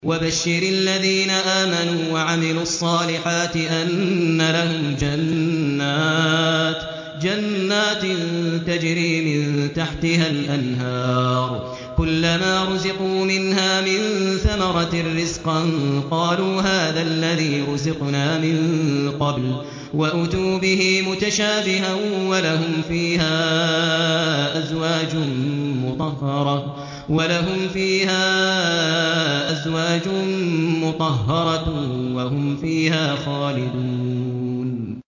وَبَشِّرِ الَّذِينَ آمَنُوا وَعَمِلُوا الصَّالِحَاتِ أَنَّ لَهُمْ جَنَّاتٍ تَجْرِي مِن تَحْتِهَا الْأَنْهَارُ ۖ كُلَّمَا رُزِقُوا مِنْهَا مِن ثَمَرَةٍ رِّزْقًا ۙ قَالُوا هَٰذَا الَّذِي رُزِقْنَا مِن قَبْلُ ۖ وَأُتُوا بِهِ مُتَشَابِهًا ۖ وَلَهُمْ فِيهَا أَزْوَاجٌ مُّطَهَّرَةٌ ۖ وَهُمْ فِيهَا خَالِدُونَ